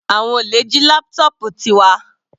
Àwọn olè jí laptop Tiwa.